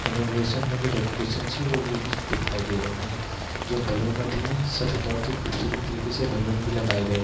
inauguration में जो decoration है वो दिखाई दे रही हैं | जो बैलून अभी हैं वो सभी बहुत खूबसूरत तरीके से बैलून भी लगाए गए --